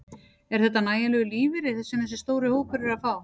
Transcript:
Er þetta nægjanlegur lífeyri sem þessi stóri hópur er að fá?